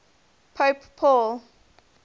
pope paul